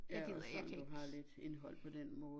Ja og også sådan du har lidt indhold på den måde